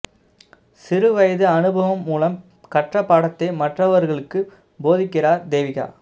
சிறு வயது அனுபவம் மூலம் கற்ற பாடத்தை மற்றவர்களுக்குப் போதிக்கிறார் தேவிகா